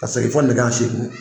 Ka segin fɔ nɛgɛ ɲɛn seegin.